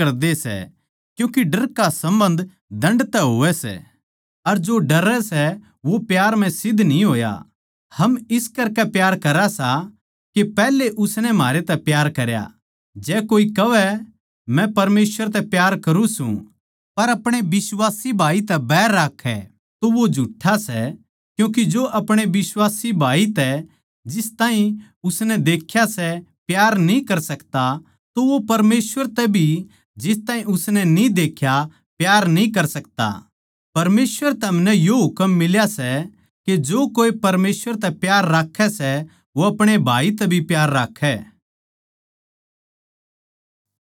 परमेसवर तै हमनै यो हुकम मिल्या सै कै जो कोए परमेसवर तै प्यार राक्खै सै वो अपणे भाई तै भी प्यार राक्खै